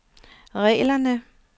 reglerne